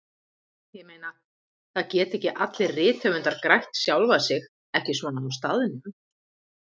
Ég meina, það geta ekki allir rithöfundar grætt sjálfa sig, ekki svona á staðnum.